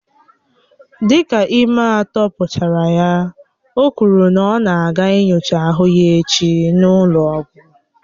Dịka ime atọ pụchara ya, o kwuru na ọ na aga nyochaa ahụ echi n'ụlọ ọgwụ